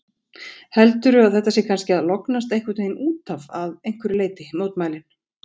Heldurðu að þetta sé kannski að lognast einhvern veginn útaf að einhverju leyti, mótmælin?